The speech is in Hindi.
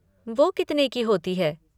वो कितने की होती हैं?